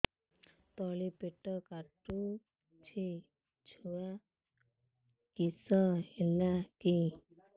ତଳିପେଟ କାଟୁଚି ଛୁଆ କିଶ ହେଲା କି